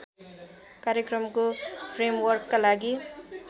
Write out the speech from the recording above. कार्यक्रमको फ्रेमवर्कका लागि